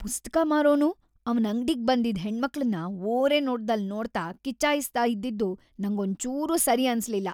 ಪುಸ್ತಕ ಮಾರೋನು ಅವ್ನ್ ಅಂಗ್ಡಿಗ್‌ ಬಂದಿದ್ ಹೆಣ್ಮಕ್ಳನ್ನ ಓರೆನೋಟ್ದಲ್‌ ನೋಡ್ತಾ ಕಿಚಾಯಿಸ್ತಾ ಇದ್ದಿದ್ದು ನಂಗ್ ಒಂಚೂರು ಸರಿ ಅನ್ಸ್ಲಿಲ್ಲ.